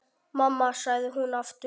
Mamma, sagði hún aftur.